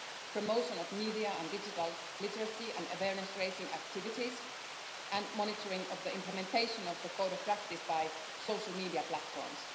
promotion of media and digital literacy and awareness raising activities, and monitoring of the implementation of the code of practice by social media platforms.